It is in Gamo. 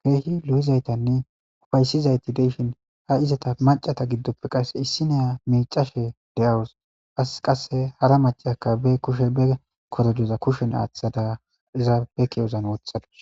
keehi lu'izaytanne ufaysizayti deyshin ha izata macata giddoppe qass issineya miicashe de'awus as qasse hara mace aka be kushe be korodoza kushen aaththada iza be kiwozan wothadus.